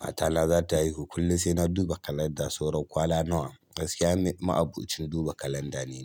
Matana za ta haihu kullum sai na duba kalanda. Saura kwana nawa, gaskiya ma ni maabocin duba kalanda ne.